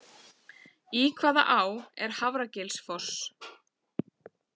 Í hvaða á er Hafragilsfoss?